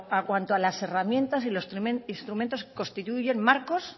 a cuanto a las herramientas y los instrumentos constituyen marcos